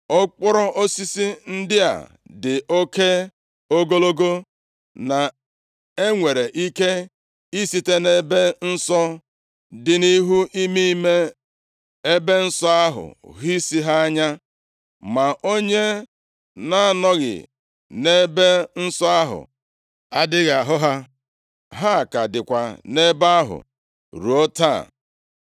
Okporo osisi ndị a dị oke ogologo, na e nwere ike ị site nʼEbe Nsọ, dị nʼihu ime ime ebe nsọ ahụ hụ isi ha anya, ma onye na-anọghị nʼEbe Nsọ ahụ adịghị ahụ ha. Ha ka dịkwa nʼebe ahụ ruo taa.